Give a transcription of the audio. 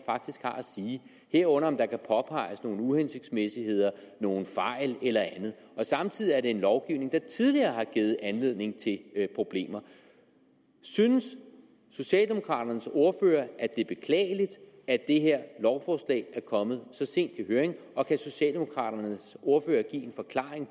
sige herunder om der kan påpeges nogle uhensigtsmæssigheder nogle fejl eller andet samtidig er det en lovgivning der tidligere har givet anledning til problemer synes socialdemokraternes ordfører at det er beklageligt at det her lovforslag er kommet så sent i høring og kan socialdemokraternes ordfører give en forklaring